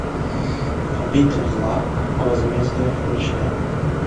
обитель зла возмездие включай